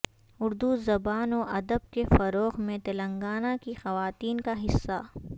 اردو زبان و ادب کے فروغ میں تلنگانہ کی خواتین کا حصہ